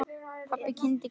Pabbi kyngdi.